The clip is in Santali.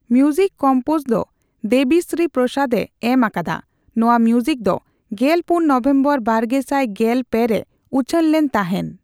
ᱢᱭᱩᱡᱤᱠ ᱠᱚᱢᱯᱚᱡᱽ ᱫᱚ ᱫᱮᱣᱤ ᱥᱨᱤ ᱯᱨᱚᱥᱟᱫᱽ ᱮ ᱮᱢ ᱟᱠᱟᱫᱟ᱾ ᱱᱚᱣᱟ ᱢᱭᱩᱡᱤᱠ ᱫᱚ ᱜᱮᱞ ᱯᱩᱱ ᱱᱚᱣᱮᱢᱵᱟᱨ ᱵᱟᱨᱜᱮᱥᱟᱭ ᱜᱮᱞ ᱯᱮ ᱨᱮ ᱩᱪᱷᱟᱹᱱ ᱞᱮᱱ ᱛᱟᱦᱮᱱ᱾